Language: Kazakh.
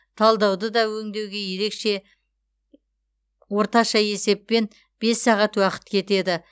талдауды да өңдеуге ерекше орташа есеппен бес сағат уақыт кетеді